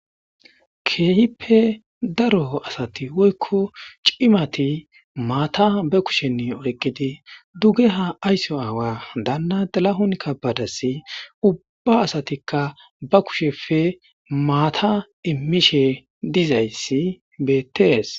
keehippe daro asati woykko cimati maata be kushenni oqidi dugge ha aysso aawa daanna dalahunkka badass ubba asatikka ba kushefe maata immishe dizayssi beettees